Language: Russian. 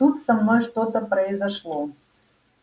тут со мной что-то произошло